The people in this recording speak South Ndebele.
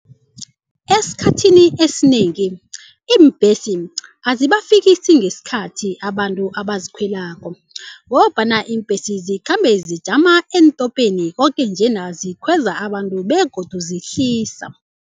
Esikhathini esinengi iimbhesi azibafikisi ngesikhathi abantu abazikhwelako ngombana iimbhesi zikhambe zijama eentopeni koke njena zikhweza abantu begodu zihlisa.